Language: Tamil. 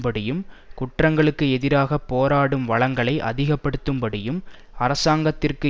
படியும் குற்றங்களுக்கு எதிராக போராடும் வளங்களை அதிக படுத்தும் படியும் அரசாங்கத்திற்கு